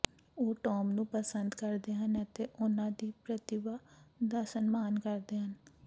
ਉਹ ਟੌਮ ਨੂੰ ਪਸੰਦ ਕਰਦੇ ਹਨ ਅਤੇ ਉਨ੍ਹਾਂ ਦੀ ਪ੍ਰਤਿਭਾ ਦਾ ਸਨਮਾਨ ਕਰਦੇ ਹਨ